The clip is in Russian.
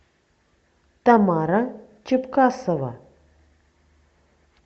тамара чебкасова